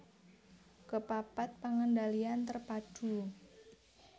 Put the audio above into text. Kepapat pengendalian terpadu